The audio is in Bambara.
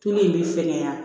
in bɛ fɛkɛya